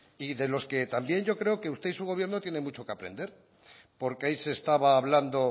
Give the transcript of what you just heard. y de los que también yo creo que usted y su gobierno tienen mucho que aprender porque ahí se estaba hablando